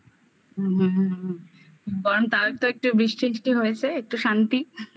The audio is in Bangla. বরং তাদের তো একটু বৃষ্টি টিষ্টি হয়েছে একটু শান্তি I